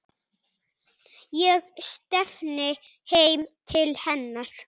Ég stefni heim til hennar.